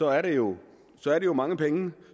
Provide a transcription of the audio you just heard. er det jo mange penge